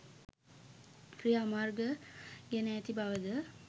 ක්‍රියාමර්ග ගෙන ඇති බව ද